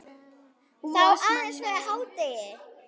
Þó aðeins fyrir hádegi.